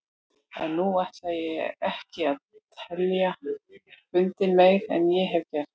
En nú ætla ég ekki að tefja fundinn meir en ég hef gert.